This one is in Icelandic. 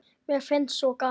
Mér finnst svo gaman!